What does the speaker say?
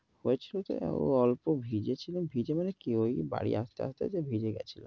হয়েছিলো টা অল্প ভিজেছিলাম। ভিজে মানে কি ঐ বাড়ি আসতে আসতে ভিজে গেছিলো।